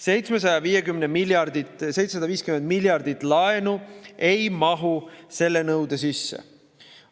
750 miljardi suurune laen ei mahu selle nõude sisse.